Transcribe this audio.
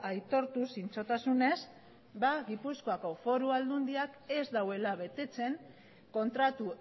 aitortu zintzotasunez gipuzkoako foru aldundiak ez duela betetzen kontratu